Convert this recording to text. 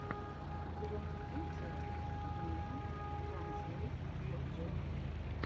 у тебя найдется йимина транзлэйт проджект